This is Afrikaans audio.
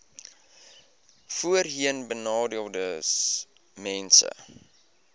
voorheenbenadeeldesmense